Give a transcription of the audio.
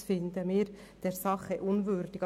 Dergleichen finden wir der Sache unwürdig.